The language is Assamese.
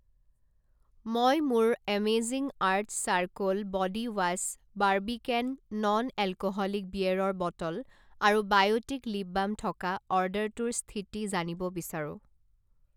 মই মোৰ amazing earth charcoal body wash Barbican non alcoholic বিয়েৰৰ বটল আৰু বায়'টিক লিপ বাম থকা অৰ্ডাৰটোৰ স্থিতি জানিব বিচাৰোঁ।